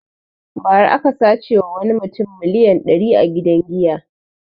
Ba ra aka sace ma wani mutum miliyan dari a gidan giya